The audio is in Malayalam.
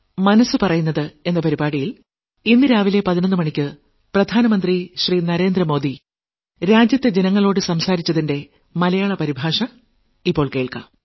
മനസ്സ് പറയുന്നത് നാൽപത്തിയൊൻപതാം ലക്കം